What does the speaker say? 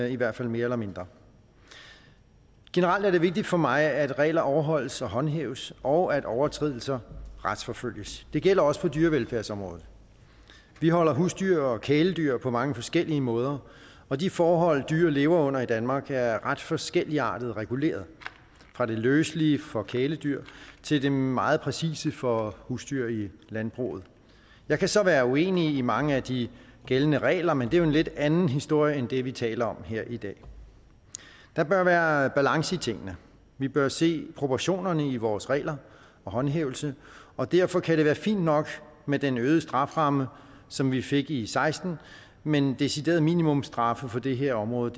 i hvert fald mere eller mindre generelt er det vigtigt for mig at regler overholdes og håndhæves og at overtrædelser retsforfølges det gælder også på dyrevelfærdsområdet vi holder husdyr og kæledyr på mange forskellige måder og de forhold dyr lever under i danmark er ret forskelligartet reguleret fra det løselige for kæledyr til det meget præcise for husdyr i landbruget jeg kan så være uenig i mange af de gældende regler men det er jo en lidt anden historie end det vi taler om her i dag der bør være balance i tingene vi bør se proportionerne i vores regler og håndhævelse og derfor kan det være fint nok med den øgede strafferamme som vi fik i seksten men deciderede minimumsstraffe på det her område